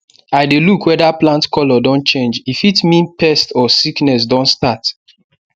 i dey look whether plant colour don change e fit mean pest or sickness don start